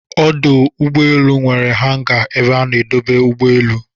Ọdụ ụgbọelụ nwere hanga ebe a na-edobe ụgbọ elu